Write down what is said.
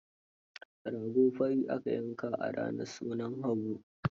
Rago fari aka yanka a ranar sunan Habu.